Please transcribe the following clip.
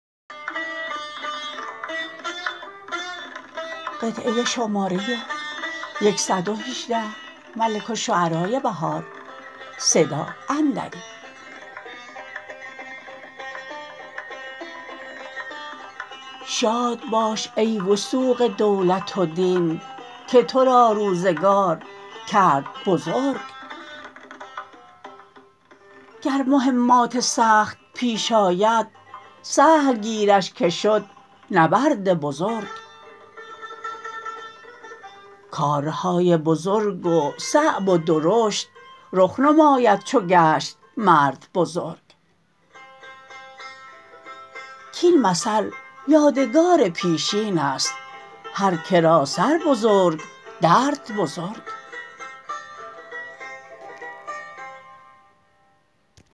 شاد باش ای وثوق دولت و دین که تو را روزگار کرد بزرگ گر مهمات سخت ییش آید سهل گیرش که شد نبرد بزرگ کارهای بزرگ و صعب و درشت رخ نماید چو گشت مرد بزرگ کاین مثل یادگار پیشین است هر کرا سر بزرگ درد بزرگ